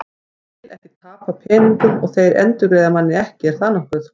Ég vil ekki tapa peningum og þeir endurgreiða manni ekki, er það nokkuð?